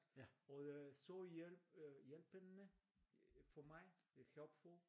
Og øh så hjælp øh hjælpende for mig øh helpful